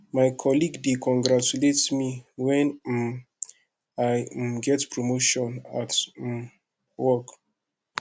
my colleague dey congratulate me when um i um get promotion at um work